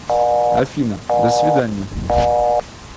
афина до свиданья